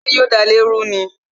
Ṣé yo da ilé ru ni?